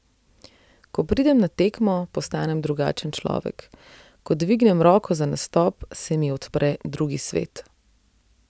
Ko pridem na tekmo, postanem drugačen človek, ko dvignem roko za nastop, se mi odpre drugi svet.